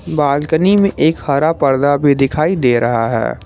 Balcony में एक हरा पर्दा भी दिखाई दे रहा है।